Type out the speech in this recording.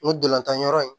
N ko dolantan yɔrɔ in